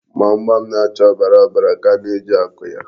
Gbamgbam na-acha ọbara ọbara ka a na-eji akụ ya.